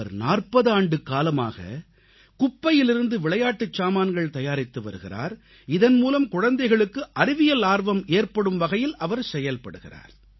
அவர் 40 ஆண்டுக்காலமாக குப்பையிலிருந்து விளையாட்டுச் சாமான்கள் தயாரித்து வருகிறார் இதன்மூலம் குழந்தைகளுக்கு அறிவியல் ஆர்வம் ஏற்படும் வகையில் அவர் செயல்படுகிறார்